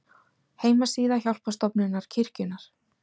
Heimasíða Hjálparstofnunar kirkjunnar.